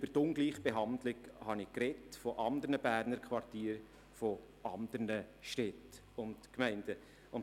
Die Ungleichbehandlung von Berner Quartieren oder anderen Städten und Gemeinden habe ich schon erwähnt.